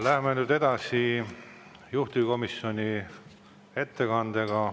Läheme nüüd edasi juhtivkomisjoni ettekandega.